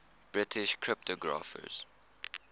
british cryptographers